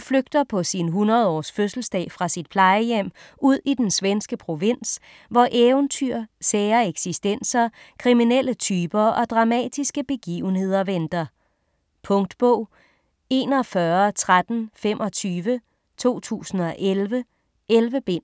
flygter på sin 100 års fødselsdag fra sit plejehjem ud i den svenske provins, hvor eventyr, sære eksistenser, kriminelle typer og dramatiske begivenheder venter. Punktbog 411325 2011. 11 bind.